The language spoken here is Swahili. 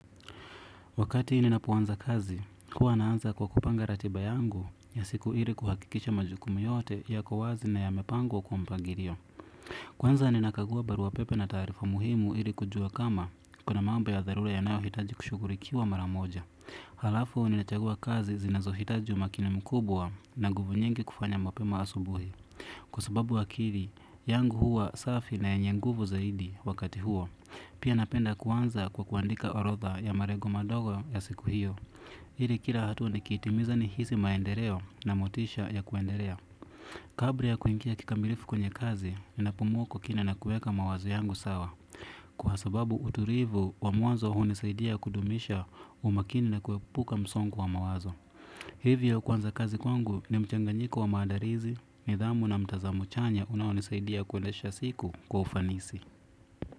Wakati ninapoanza kazi, huwa naanza kwa kupanga ratiba yangu ya siku ili kuhakikisha majukumu yote yako wazi na yamepangwo kwa mpagirio. Kwanza ninakagua barua pepe na taarifa muhimu ili kujua kama kuna mambo ya dharule yanayohitaji kushughurikiwa mara moja. Halafu ninachagua kazi zinazohitaji umakini mkubwa na nguvu nyingi kufanya mapema asubuhi. Kwa sababu akili, yangu huwa safi na yenye nguvu zaidi wakati huo. Pia napenda kuanza kwa kuandika orodha ya marego madogo ya siku hiyo. Hiri kira hatua nikiitimiza nihisi maendereo na motisha ya kuenderea. Kabra ya kuingia kikamilifu kwenye kazi, ninapumua kwa kina na kueka mawazo yangu sawa. Kwa sababu uturivu, wa mwanzo hunisaidia kudumisha umakini na kuepuka msongu wa mawazo. Hivyo kuanza kazi kwangu ni mchanganyiko wa maadarizi, nidhamu na mtazamo chanya unaonisaidia kwendesha siku kwa ufanisi.